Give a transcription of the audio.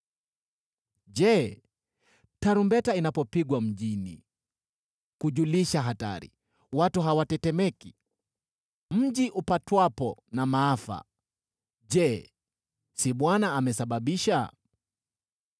Je, tarumbeta inapopigwa mjini kujulisha hatari, watu hawatetemeki? Mji upatwapo na maafa, je, si Bwana amesababisha?